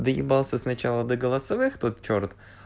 доебался сначала до голосовых тот чёрт